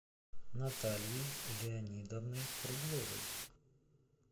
натальей леонидовной кругловой